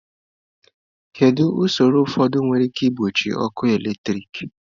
Kedu ụsọrọ ụfọdụ were ike iji gbochie ọkụ eletrik?